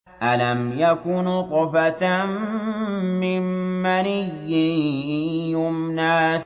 أَلَمْ يَكُ نُطْفَةً مِّن مَّنِيٍّ يُمْنَىٰ